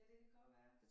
Ja det kan godt være